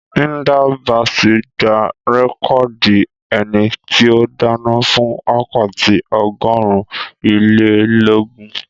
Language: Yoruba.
Hilda Basi gba rẹ́kọ̀dì ẹni tí ó dáná fún wákàtí ọgọ́rùn-ún-ilé-lógún